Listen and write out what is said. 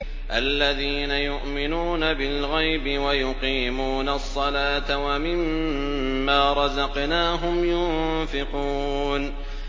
الَّذِينَ يُؤْمِنُونَ بِالْغَيْبِ وَيُقِيمُونَ الصَّلَاةَ وَمِمَّا رَزَقْنَاهُمْ يُنفِقُونَ